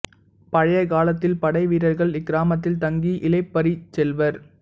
பழைய காலத்தில் படை வீரர்கள் இக்கிராமத்தில் தங்கி இளைப்பறிச் செல்வர்